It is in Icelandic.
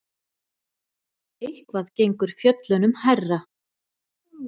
Eitthvað gengur fjöllunum hærra